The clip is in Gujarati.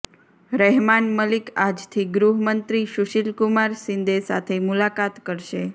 રહેમાન મલિક આજથી ગૃહમંત્રી સુશીલ કુમાર શિંદે સાથે મુલાકાત કરશે